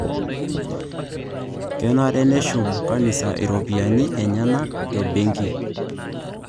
Kenare neshum kanisa iropiyiani enyenak te benki